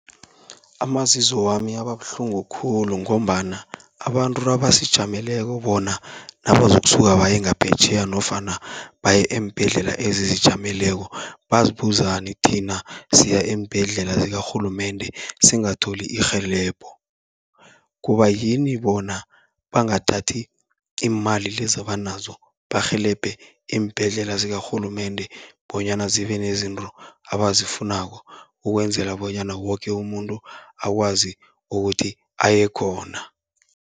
Amazizo wami ababuhlungu khulu, ngombana abantu abasijameleko bona nabazokusuka baye ngaphetjheya nofana baye eembhedlela ezizijameleko, bazibuzani thina siya eembhedlela zikarhulumende singatholi irhelebho. Kubayini bona bangathathi iimali lezi abanazo barhelebhe iimbhedlela zikarhulumende, bonyana zibe nezinto abazifunako, ukwenzela bonyana woke umuntu akwazi ukuthi aye khona.